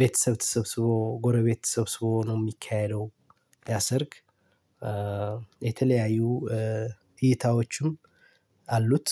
ቤተሰብ ተሰብስቦ፣ ጎረቤት ተሰብስቦ ነው የሚካሄደው ያሰርግ። የተለያዩ እይታዎችም አሉት።